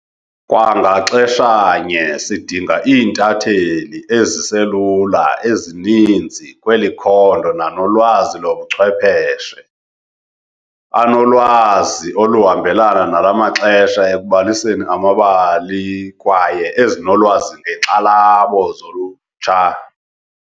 Kwa ngaxeshanye sidinga iintatheli ezi selula ezininzi kweli khondo nanolwazi lobuchwepheshe, anolwazi oluhambelana nala maxesha ekubaliseni amabali kwaye ezinolwazi ngeenkxalabo zolutsha.